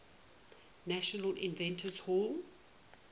national inventors hall